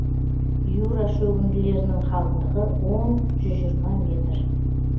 юра шөгінділерінің қалыңдығы он жүз жиырма метр